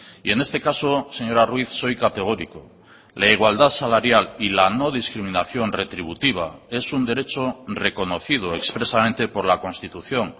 y en este caso señora ruiz soy categórico la igualdad salarial y la no discriminación retributiva es un derecho reconocidoexpresamente por la constitución